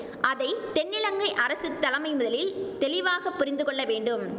அதை தென்னிலங்கை அரசு தலைமை முதலில் தெளிவாக புரிந்து கொள்ளவேண்டும்